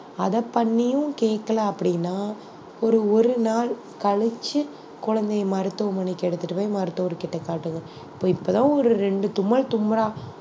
அதை பண்ணியும் கேட்கல அப்படின்னா ஒரு ஒரு நாள் கழிச்சு குழந்தைய மருத்துவமனைக்கு எடுத்துட்டு போய் மருத்துவர்கிட்ட காட்டுங்க ப~ இப்ப தான் ஒரு இரண்டு தும்மல் தும்முறான்